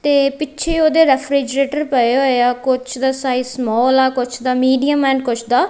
ਤੇ ਪਿੱਛੇ ਓਹਦੇ ਰੈਫਰਿਜਰੇਟਰ ਪਏ ਹੋਏ ਆ ਕੁੱਛ ਦਾ ਸਾਈਜ਼ ਸਮੋਲ ਆ ਕੁੱਛ ਦਾ ਮੀਡੀਅਮ ਐਂਡ ਕੁੱਛ ਦਾ--